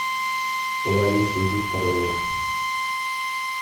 ларисой викторовной